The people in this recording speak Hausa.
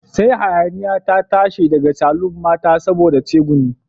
Sai hayaniya ta tashi daga saloon mata saboda tsegumi